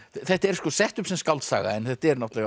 þetta er sett upp sem skáldsaga en þetta er